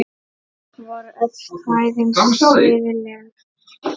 Voru öll kvæðin siðleg?